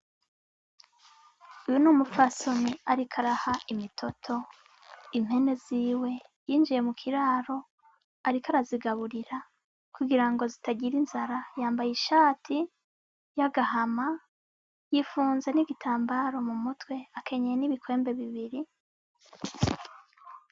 Uyu ni umupfasoni ariko araha imitoto impene ziwe. Yinjiye mu kiraro ariko arazigaburira kugira ngo zitagira inzara. Yambaye ishati y'agahama, yipfunze n'igitambaro mumutwe, akenyeye n'ibikwembe bibiri.